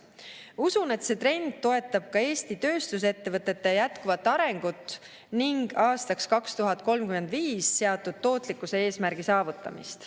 Usun, et see trend toetab ka Eesti tööstusettevõtete jätkuvat arengut ning aastaks 2035 seatud tootlikkuse eesmärgi saavutamist.